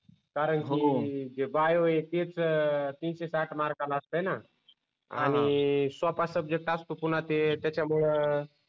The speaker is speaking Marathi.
कारण की जे बायो आहे तेच तीनशे साठ मार्कला असते न आणि सोपा सब्जेक्ट असतो पुन्हा ते त्याच्यामुळं